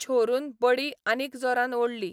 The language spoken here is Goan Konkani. छोरून बडी आनीक जोरान ओडली.